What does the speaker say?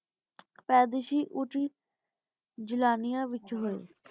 ਪਾਦੇਸ਼ੀ ਓਛੀ ਜਿਲ੍ਲਾਨਿਆ ਵਿਚ ਹੋਆਯ ਸੀ